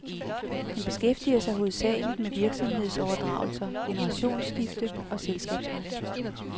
Han beskæftiger sig hovedsageligt med virksomhedsoverdragelser, generationsskifte og selskabsret.